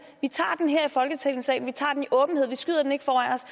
vi tager den her i folketingssalen vi tager den i åbenhed vi skyder den ikke foran os